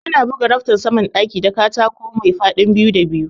Ana buga raftan saman ɗaki da katako maifadin biyu da biyu